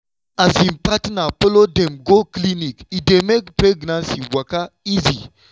wen um partner follow dem go clinic e dey make pregnancy waka easy.